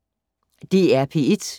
DR P1